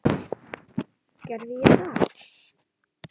Gerði ég það?